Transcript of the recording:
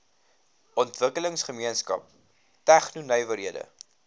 ontwikkelingsgemeenskap tegno nywerhede